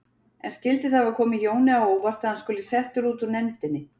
En skyldi það hafa komið Jóni á óvart að hann skuli settur út úr nefndinni?